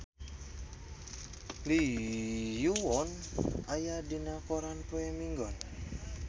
Lee Yo Won aya dina koran poe Minggon